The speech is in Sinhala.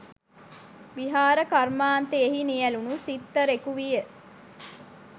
විහාර කර්මාන්තයෙහි නියැලුණු සිත්තරෙකු විය.